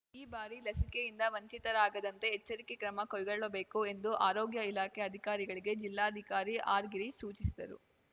ಈ ಬಾರಿ ಲಸಿಕೆಯಿಂದ ವಂಚಿತರಾಗದಂತೆ ಎಚ್ಚರಿಕೆ ಕ್ರಮ ಕೈಗೊಳ್ಳಬೇಕು ಎಂದು ಆರೋಗ್ಯ ಇಲಾಖೆ ಅಧಿಕಾರಿಗಳಿಗೆ ಜಿಲ್ಲಾಧಿಕಾರಿ ಆರ್‌ಗಿರೀಶ್‌ ಸೂಚಿಸಿದರು